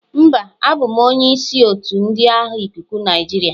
Mba, abụ m onye isi otu ndị agha ikuku Nigeria.